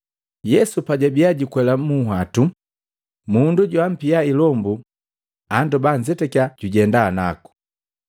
Yesu pajabia jukwela munhwatu, mundu joampia ilombu andoba anzetakiya kujenda naku.